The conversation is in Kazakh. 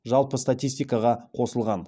жалпы статистикаға қосылған